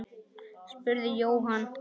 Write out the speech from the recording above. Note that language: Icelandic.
spurði Jóhann.